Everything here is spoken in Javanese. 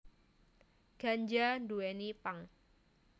Ganja nduwèni pang